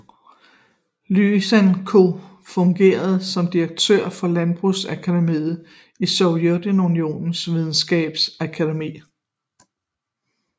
Lysenko fungerede som direktør for Landbrugsakademiet i Sovjetunionens Videnskabsakademi